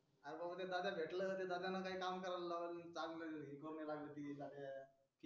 अर भाऊ उदया दादाला भेटलो ते दादा न काही काम काऱ्यालय लावल चांगल नाही तो गेला तिथी राज्या